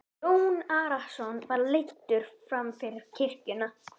Jón Arason var leiddur fram fyrir kirkjuna.